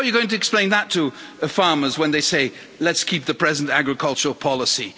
How are you going to explain that to the farmers when they say let's keep the present agricultural policy'?